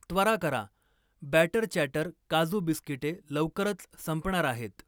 त्वरा करा, बॅटर चॅटर काजू बिस्किटे लवकरच संपणार आहेत.